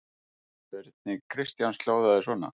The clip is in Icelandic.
Spurning Kristjáns hljóðaði svona: